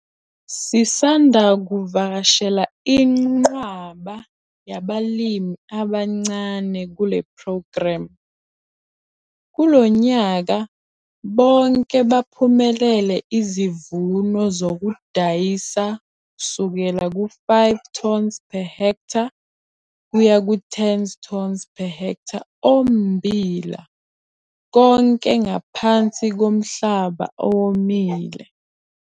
Sisanda kuvakashela inqwaba yabalimi abancane kule phrogremu - kulo nyaka bonke baphumelele izivuno zokudayisa, kusukela ku-5 tons per ha kuya ku-10 tons per ha ommbila konke ngaphansi komhlaba owomile.